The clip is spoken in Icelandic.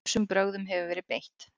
Ýmsum brögðum hefur verið beitt.